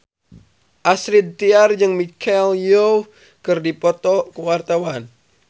Astrid Tiar jeung Michelle Yeoh keur dipoto ku wartawan